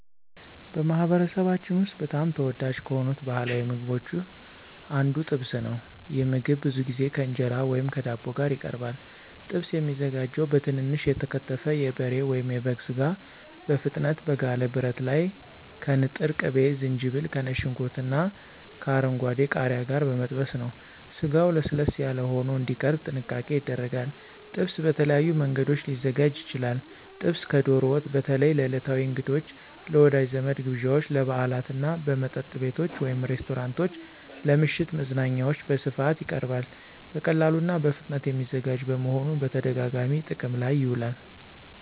በማኅበረሰባችን ውስጥ በጣም ተወዳጅ ከሆኑት ባሕላዊ ምግቦች አንዱ ጥብስ ነው። ይህ ምግብ ብዙ ጊዜ ከእንጀራ ወይም ከዳቦ ጋር ይቀርባል። ጥብስ የሚዘጋጀው በትንንሽ የተከተፈ የበሬ ወይም የበግ ሥጋ በፍጥነት በጋለ ብረት ላይ ከንጥር ቅቤ፣ ዝንጅብል፣ ከነጭ ሽንኩርትና ከአረንጓዴ ቃሪያ ጋር በመጠበስ ነው። ስጋው ለስለስ ያለ ሆኖ እንዲቀርብ ጥንቃቄ ይደረጋል። ጥብስ በተለያዩ መንገዶች ሊዘጋጅ ይችላል። ጥብስ ከዶሮ ወጥ በተለይ ለዕለታዊ እንግዶች፣ ለወዳጅ ዘመድ ግብዣዎች፣ ለበዓላት እና በመጠጥ ቤቶች (ሬስቶራንቶች) ለምሽት መዝናኛዎች በስፋት ይቀርባል። በቀላሉና በፍጥነት የሚዘጋጅ በመሆኑ በተደጋጋሚ ጥቅም ላይ ይውላል።